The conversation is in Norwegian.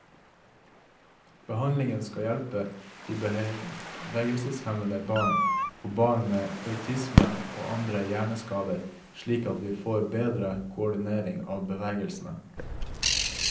Behandlingen skal hjelpe bevegelseshemmede barn, og barn med autisme og andre hjerneskader slik at de får bedre koordinering av bevegelsene.